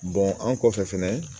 an kɔfɛ fɛnɛ